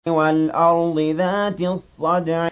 وَالْأَرْضِ ذَاتِ الصَّدْعِ